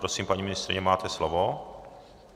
Prosím, paní ministryně, máte slovo.